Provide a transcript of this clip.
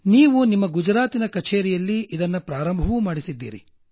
ನೀವು ಗುಜರಾತಿನ ಕಛೇರಿಯಲ್ಲಿ ಇದನ್ನ ಪ್ರಾರಂಭ ಮಾಡಿಸಿದ್ದಿರಿ